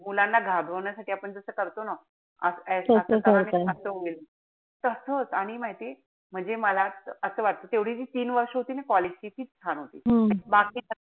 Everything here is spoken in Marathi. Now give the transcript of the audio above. मुलांना घाबरवण्यासाठी आपण जस करतो ना असा करा नाई त असं होईल. तसच. आणि माहितीये म्हणजे मला असं वाटत कि पुढे जी तीन वर्ष होती ना college ची. तीच छान होती. बाकी त मुलांना,